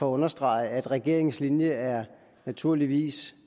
understrege at regeringens linje naturligvis